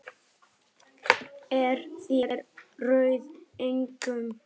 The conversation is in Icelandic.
Þér eruð engum lík!